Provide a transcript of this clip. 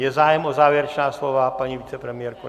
Je zájem o závěrečná slova, paní vicepremiérko?